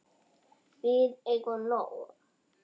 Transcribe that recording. Við eigum nóg.